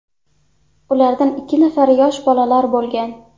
Ulardan ikki nafari yosh bolalar bo‘lgan.